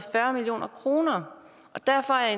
og kroner og derfor er